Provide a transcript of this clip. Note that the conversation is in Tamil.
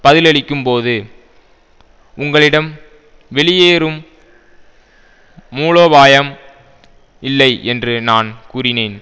பதிலளிக்கும்போது உங்களிடம் வெளியேறும் மூலோபாயம் இல்லை என்று நான் கூறினேன்